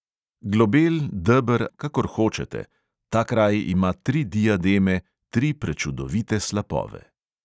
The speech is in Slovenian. Globel, deber ali tesen, kakor hočete: ta kraj imaj tri diademe, tri prečudovite slapove.